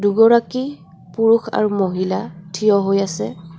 দুগৰাকী পুৰুষ আৰু মহিলা ঠিয় হৈ আছে.